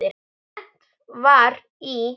Lent var í